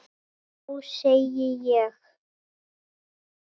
Já, segi ég.